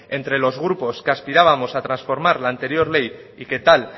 entre los grupos que aspirábamos a transformar la anterior ley y que tal